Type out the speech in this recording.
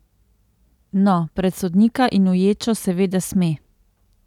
No, pred sodnika in v ječo seveda sme.